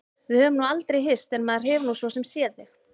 Við höfum nú aldrei hist en maður hefur nú svo sem séð þig.